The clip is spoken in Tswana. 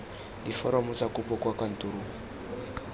diforomo tsa kopo kwa kantorong